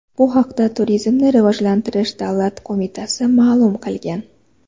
Bu haqda Turizmni rivojlantirish davlat qo‘mitasi ma’lum qilgan .